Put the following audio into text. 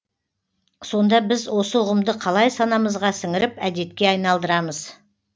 сонда біз осы ұғымды қалай санамызға сіңіріп әдетке айналдырамыз